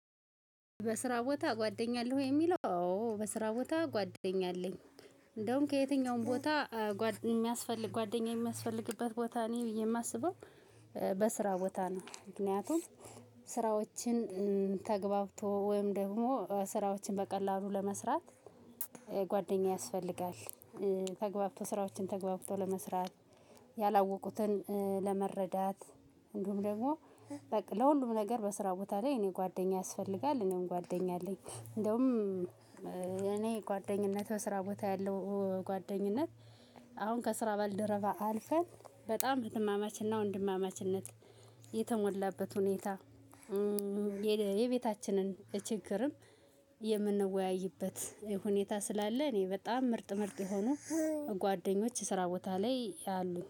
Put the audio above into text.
በስራ ቦታ ጓደኛ አለህ ወይ የሚለው? አዎ በስራ ቦታ ጓደኛ አለኝ። እንደውም ከየትኛውም ቦታ የሚያስፈልግ ጓደኛዬ የሚያስፈልግበት ቦታ እኔ ብዬ ነው የማስበው። በስራ ቦታ ነው። ምክንያቱም ስራዎችን ተግባብቶ ወይም ደግሞ ስራዎችን በቀላሉ ለመስራት ጓደኛ ያስፈልጋል። ተግባብቶ ስራዎችን ተገብቶ ለመስራት ያላወቁትን ለመረዳት እንዲሁም ደግሞ በቃ ለሁሉም ነገር በስራ ቦታ ላይ እኔ ጓደኛ ያስፈልጋል እኔም ጓደኛ አለኝ። እንደውም እኔ ጓደኝነት በስራ ቦታ ያለው ጓደኝነት። አሁን ከስራ ባልደረባ አልፈን በጣም ወንድማማችንና ወንድማማችነት የተሞላበት ሁኔታ። የቤታችንን ችግርም የምንወያይበት ሁኔታ ስላለ እኔ በጣም ምርጥ ምርጥ የሆኑ ጓደኞች ስራ ቦታ ላይ አሉኝ